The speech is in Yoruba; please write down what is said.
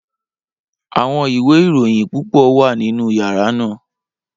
Awọn iwe irohin pupọ wa ninu yara naa.